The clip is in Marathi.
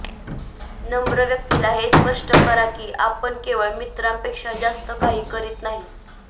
नम्र व्यक्तीला हे स्पष्ट करा की आपण केवळ मित्रांपेक्षा जास्त काही करीत नाही